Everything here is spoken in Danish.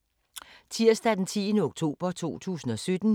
Tirsdag d. 10. oktober 2017